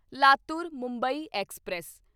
Latur Mumbai express